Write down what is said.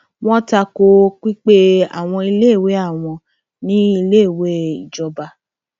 wọn ta ko pípé àwọn iléèwé àwọn ní iléèwé ìjọba